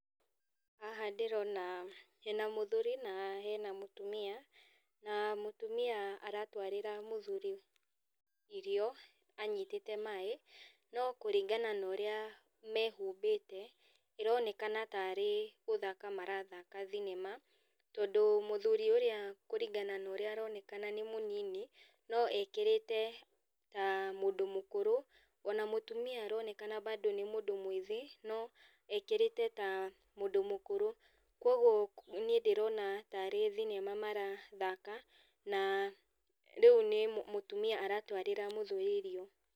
Haha ndĩrona hena mũthuri, na hena mũtumia, na mũtumia aratwarĩra mũthuri irio, anyitĩte maĩ, no kũringana na ũrĩa mehumbĩte, ĩronekana tarĩ gũthaka marathaka thinema, tondũ mũthuri ũrĩa kũringa na ũrĩa aronekana nĩ mũnini, no ekĩrĩte ta mũndũ mũkũrũ, ona mutumia aronekana bado nĩ mũndũ mwĩthĩ, no ekĩrĩte ta mũndũ mũkũru. Koguo niĩ ndĩrona tarĩ thinema marathaka, na riũ nĩ mũ mũtumia aratwarĩra mũthuri irio.